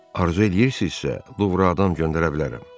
Arzu eləyirsinizsə, Luvradan göndərə bilərəm.